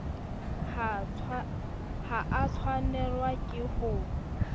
ha a tshwanelwa ke ho